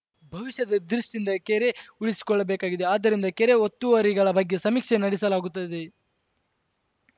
ಭವಿಷ್ಯದ ದೃಷ್ಟಿಯಿಂದ ಕೆರೆ ಉಳಿಸಿಕೊಳ್ಳಬೇಕಾಗಿದೆ ಆದ್ದರಿಂದ ಕೆರೆ ಒತ್ತುವರಿಗಳ ಬಗ್ಗೆ ಸಮೀಕ್ಷೆ ನಡೆಸಲಾಗುತ್ತದೆ